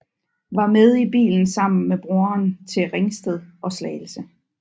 Var med i bilen sammen med broren til Ringsted og Slagelse